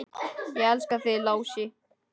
Ég elska þig, Lási.